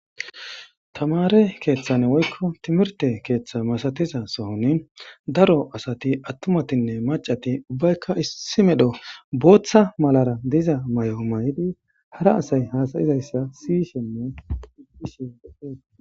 tamare keeththan woykko timirte keeththa masatiza sohoni daro asati attumatinne macati ubbaykka issi medho booththa malara diza may7o mayidi hara asay hasayizayssa sishenne iishie